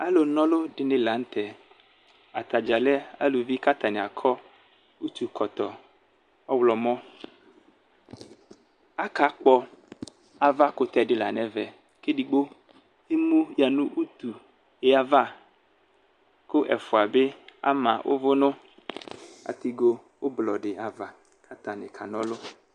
Alʋ na ɔlʋ dini lanʋtɛ atadza lɛ alʋvi kʋ atani akɔ utu kɔtɔ ɔwlɔmɔ akakpɔ ava kʋtɛdila nʋ ɛvɛ kʋ edigbo emu yanʋ utu diava kʋ ɛfʋa bi ama ʋvʋ nʋ atigo ʋblʋ di ava kʋ atani kana ɔlʋ